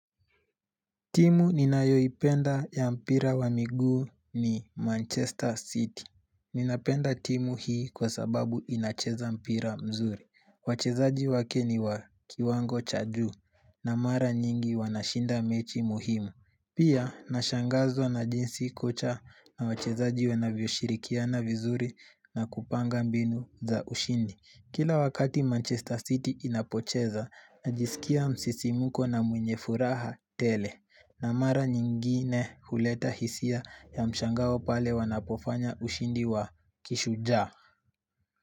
Timu ninayoipenda ya mpira wa miguu ni Manchester City. Ninapenda timu hii kwa sababu inacheza mpira mzuri. Wachezaji wake ni wa kiwango cha juu na mara nyingi wanashinda mechi muhimu. Pia nashangazwa na jinsi kocha na wachezaji wanavyo shirikiana vizuri na kupanga mbinu za ushindi. Kila wakati Manchester City inapocheza najisikia msisimko na mwenye furaha tele. Na mara nyingine huleta hisia ya mshango pale wanapofanya ushindi wa kishujaa.